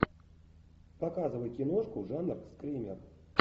показывай киношку жанр скример